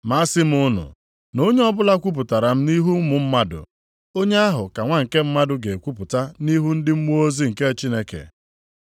“Ma asị m unu, na onye ọbụla kwupụtara m nʼihu ụmụ mmadụ, onye ahụ ka Nwa nke Mmadụ ga-ekwupụta nʼihu ndị mmụọ ozi nke Chineke.